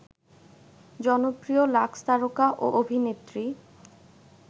জনপ্রিয় লাক্সতারকা ও অভিনেত্রী